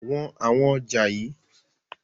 Wọn àwọn ọjà yii!